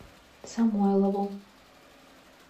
самойлову